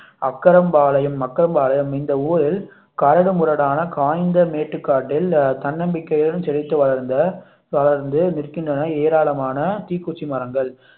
அக்கரம் பாளையம் அக்கரம் பாளையம் இந்த ஊரில் கரடு முரடான காய்ந்த மேட்டுக்காட்டில் தன்னம்பிக்கையுடன் செழித்து வளர்ந்த வளர்ந்து நிற்கின்றன ஏராளமான தீக்குச்சி மரங்கள்